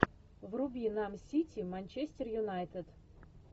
вруби нам сити манчестер юнайтед